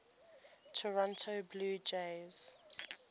toronto blue jays